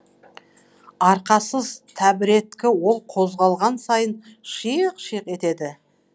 арқасыз тәбіреткі ол қозғалған сайын шыйық шыйық етеді